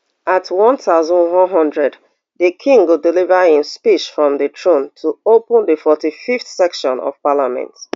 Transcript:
at one thousand, one hundred di king go deliver im speech from di throne to open di forty-fiveth session of parliament